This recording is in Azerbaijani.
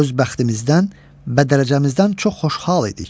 Öz bəxtimizdən, bədərəcəmizdən çox xoşhal idik.